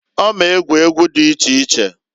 Ọ m'egwu egwu dị iche iche.